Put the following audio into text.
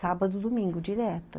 Sábado e domingo, direto.